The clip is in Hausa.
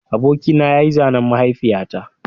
Abokina ya yi zanen mahaifiyata